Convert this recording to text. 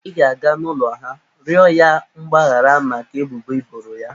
I ga-aga n'ụlọ ha, rịọ ya mgbahara maka ebubo i boro ya.